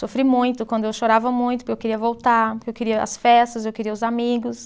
Sofri muito quando eu chorava muito porque eu queria voltar, porque eu queria as festas, eu queria os amigos.